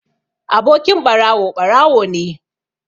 Abokin ɓarawo ɓarawo ne